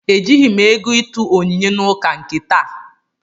Ejighị m ego ịtụ onyinye n'ụka nke taa